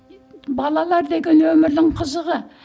балалар деген өмірдің қызығы